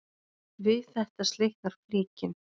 Við þetta slitnar flíkin.